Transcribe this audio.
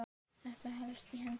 Þetta helst í hendur.